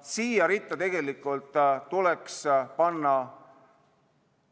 Siia ritta tuleks panna